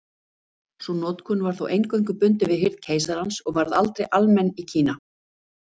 Sú notkun var þó eingöngu bundin við hirð keisarans og varð aldrei almenn í Kína.